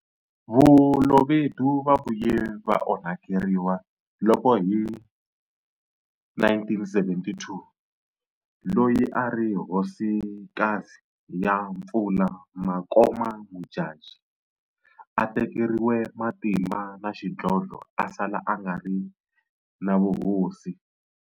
Balobedu va vuye va onhakeriwa loko hi 1972 loyi a ri Hosikazi ya Mpfula Makoma Modjadji a tekeriwe matimba na xidlodlo a sala a nga ri na vuhosi.